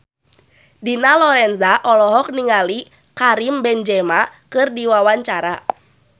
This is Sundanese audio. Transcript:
Dina Lorenza olohok ningali Karim Benzema keur diwawancara